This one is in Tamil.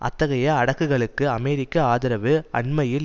அத்தகைய அடுக்குகளுக்கு அமெரிக்க ஆதரவு அண்மையில்